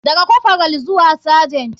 Daga corporal zuwa sergent.